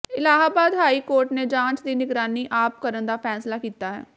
Allahabad high court ਨੇ ਜਾਂਚ ਦੀ ਨਿਗਰਾਨੀ ਆਪ ਕਰਨ ਦਾ ਫ਼ੈਸਲਾ ਕੀਤਾ ਹੈ